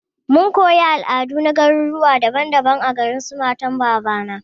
Mun koyi al'adu na garuruwa daban daban a garin su matan babana.